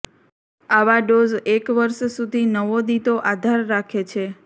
આવા ડોઝ એક વર્ષ સુધી નવોદિતો આધાર રાખે છે